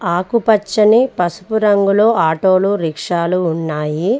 ఆకుపచ్చని పసుపు రంగులో ఆటో లు రిక్షాలు ఉన్నాయి.